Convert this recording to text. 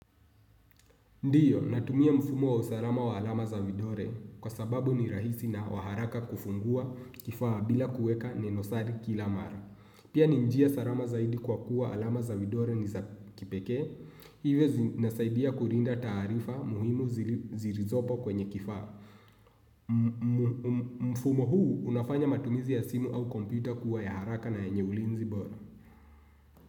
Ndiyo, natumia mfumo wa usalama wa alama za vidole kwa sababu ni rahisi na wa haraka kufungua kifaa bila kuweka ninosari kila mara. Pia ni njia salama zaidi kwa kuwa alama za vidole ni za kipekee, hivyo zinasaidia kulinda taarifa muhimu zilizopo kwenye kifaa. Mfumo huu unafanya matumizi ya simu au kompyta kuwa ya haraka na yenye ulinzi bora.